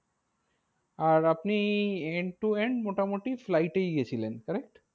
আর আপনি end to end মোটামুটি flight এই গিয়েছিলেন currect?